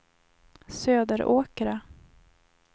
Söderåkra